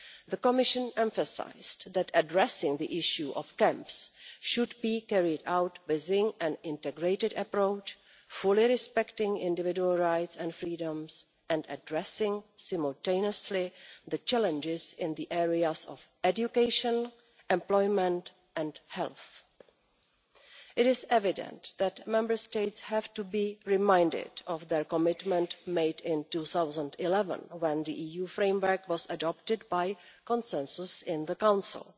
the Commission emphasised that addressing the issue of camps should be carried out within an integrated approach, fully respecting individual rights and freedoms, and addressing simultaneously the challenges in the areas of education, employment and health. It is evident that Member States have to be reminded of their commitment made in 2011 when the EU framework was adopted by consensus in the Council.